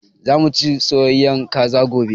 Za mu ci soyayyen Kaza gobe